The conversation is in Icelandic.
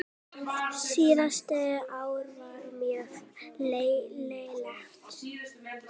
Síðasta ár var mjög lélegt.